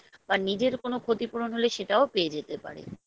বা নিজের কোনো ক্ষতিপূরণ হলে সেটাও পেয়ে যেতে পারে